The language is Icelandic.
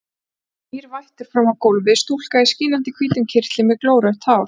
Nú kom nýr vættur fram á gólfið, stúlka í skínandi hvítum kyrtli með glórautt hár.